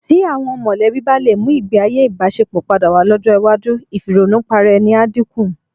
Tí àwọn mọ̀lẹ́bí bá lè mú ìgbéayé ìbáṣepọ̀ padà wá lọ́jọ́ iwájú, ìfìrònùparaẹni á dínkù.